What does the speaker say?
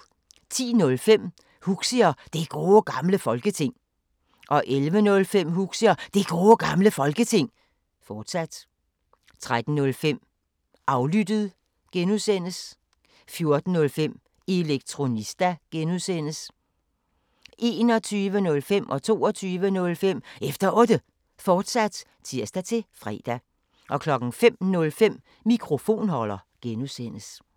10:05: Huxi og Det Gode Gamle Folketing 11:05: Huxi og Det Gode Gamle Folketing, fortsat 13:05: Aflyttet G) 14:05: Elektronista (G) 21:05: Efter Otte, fortsat (tir-fre) 22:05: Efter Otte, fortsat (tir-fre) 05:05: Mikrofonholder (G)